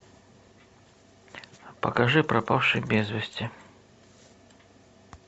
покажи пропавший без вести